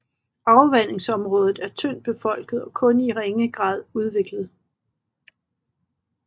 Afvandingsområdet er tyndt befolket og kun i ringe grad udviklet